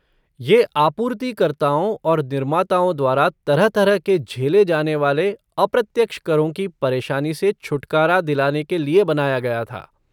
ये आपूर्तिकर्ताओं और निर्माताओं द्वारा तरह तरह के झेले जाने वाले अप्रत्यक्ष करों की परेशानी से छुटकारा दिलाने के लिए बनाया गया था।